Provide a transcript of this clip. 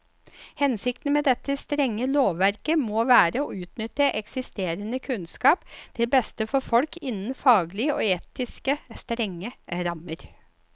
Hensikten med dette strenge lovverket må være å utnytte eksisterende kunnskap til beste for folk innen faglige og etiske strenge rammer.